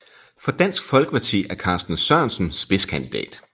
For Dansk Folkeparti er Carsten Sørensen spidskandidat